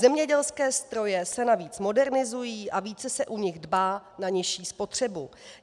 Zemědělské stroje se navíc modernizují a více se u nich dbá na nižší spotřebu.